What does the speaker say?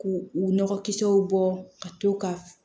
K'u u nɔgɔkisɛw bɔ ka to ka